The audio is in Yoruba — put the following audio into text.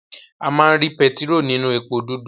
A má ri pẹtiró ninu èpo dudu.